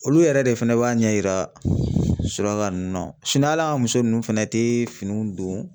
Olu yɛrɛ de fɛnɛ b'a ɲɛ yira suraka nunnu na sinɔn ali an ka muso nunnu fɛnɛ te finiw don